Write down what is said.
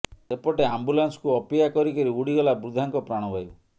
ସେପଟେ ଆମ୍ବୁଲାନ୍ସକୁ ଅପେକ୍ଷା କରି କରି ଉଡ଼ିଗଲା ବୃଦ୍ଧାଙ୍କ ପ୍ରାଣବାୟୁ